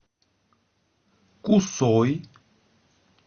кусой